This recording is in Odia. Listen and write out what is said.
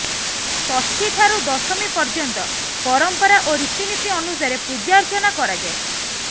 ଷଷ୍ଠୀ ଠାରୁ ଦଶମୀ ପର୍ଯ୍ୟନ୍ତ ପରମ୍ପରା ଓ ରୀତିନୀତି ଅନୁସାରେ ପୂଜାର୍ଚ୍ଚନା କରାଯାଏ